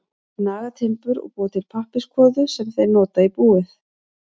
Þeir naga timbur og búa til pappírskvoðu sem þeir nota í búið.